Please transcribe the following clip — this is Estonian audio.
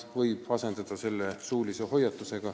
Selle asemel võib teha suulise hoiatuse.